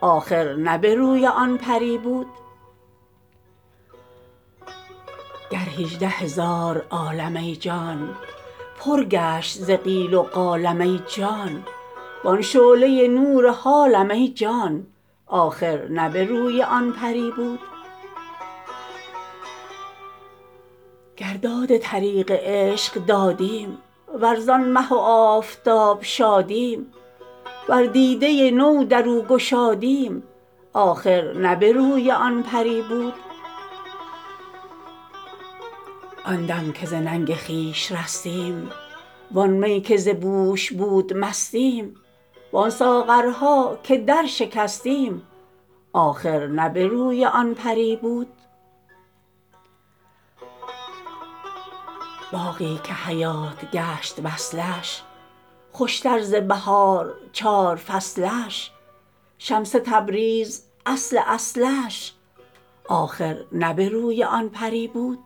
آخر نه به روی آن پری بود گر هجده هزار عالم ای جان پر گشت ز قال و قال ای جان وان شعله نور حالم ای جان آخر نه به روی آن پری بود گر داد طریق عشق دادیم ور زان مه و آفتاب شادیم ور دیده نو در او گشادیم آخر نه به روی آن پری بود آن دم که ز ننگ خویش رستیم وان می که ز بوش بود مستیم وان ساغرها که درشکستیم آخر نه به روی آن پری بود باغی که حیات گشت وصلش خوشتر ز بهار و چار فصلش شمس تبریز اصل اصلش آخر نه به روی آن پری بود